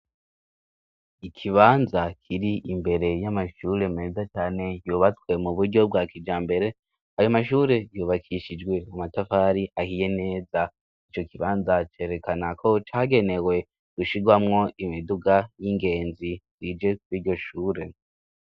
Ikibanza kiri imbere y'amashure meza cyane yubatswe mu buryo bwa kija mbere ayo mashure yubakishijwe amatafari ahiye neza ico kibanza cerekana ko cagenewe gushigwamwo imiduga y'ingenzi zije kw'iyro shure.